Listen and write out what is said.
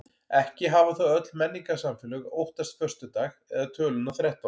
Ekki hafa þó öll menningarsamfélög óttast föstudag eða töluna þrettán.